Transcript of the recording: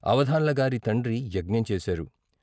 అవధాన్లగారి తండ్రి యజ్ఞం చేశారు.